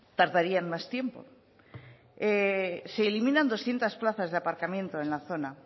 tardarían más tiempo se eliminan doscientos plazas de aparcamiento en la zona